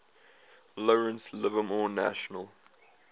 lawrence livermore national